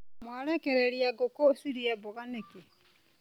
Mwarekereria ngũkũ cirĩe mboga nĩkĩ.